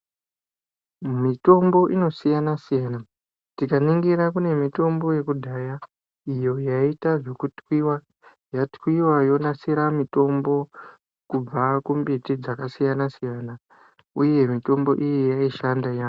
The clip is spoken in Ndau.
Mitombo ino siyana siyana tika ningira kune mitombo yekudhaya iyo yaiita zveku twiwa yatwiwa yonasira mitombo kubva ku mbiti dzaka siyana siyana uye mitombo iyi yai shanda yambo.